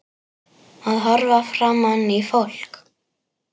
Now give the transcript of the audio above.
Að horfa framan í fólk.